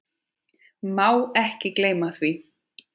Má ekki gleyma því.